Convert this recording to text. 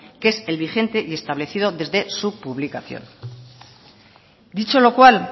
que es el vigente y establecido desde su publicación dicho lo cual